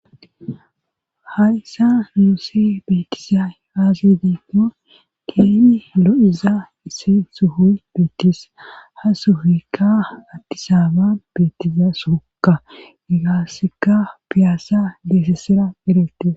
Harisa nuuse beetizay aasi diinko keeni lo7iza issin suhuy beetis ha sufikka addisaba beetiza sookka egaasika piyaassa geesessira eretis